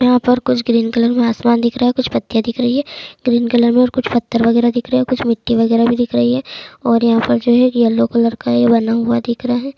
यहाँ पे कुछ ग्रीन कलर में आसमान दिख रहा है कुछ पत्तियाँ दिख रही हैं ग्रीन कलर में कुछ पत्थर वागेरा भी दिख रहे हैं और यहाँ पर जो है यल्लो कलर का ये बना हुआ दिख रहा है।